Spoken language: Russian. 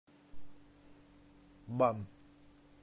бан